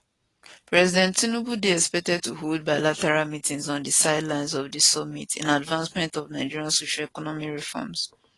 president tinubu dey expected to hold bilateral meetings on di sidelines of di summit in advancement of nigeria socioeconomic reforms